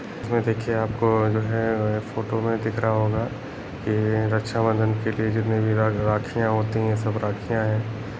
यहाँ देखिये आपको जो है फोटो में दिख रहा होगा ये रक्षाबंधन के लिए जितनी भी राखिया होती है सब राखिया हैं।